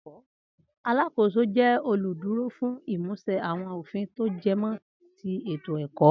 Alákóso jẹ olú dúró fún imusẹ awọn ofin to jẹmọ́ ti ètò ẹkọ